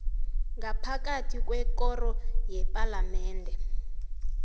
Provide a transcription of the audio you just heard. ngaphakathi kwekoro yepalamende